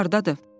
O hardadır?